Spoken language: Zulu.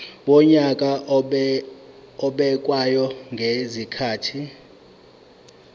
wonyaka obekwayo ngezikhathi